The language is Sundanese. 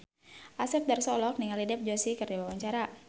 Asep Darso olohok ningali Dev Joshi keur diwawancara